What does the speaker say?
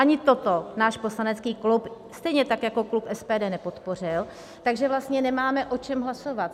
Ani toto náš poslanecký klub, stejně tak jako klub SPD, nepodpořil, takže vlastně nemáme o čem hlasovat.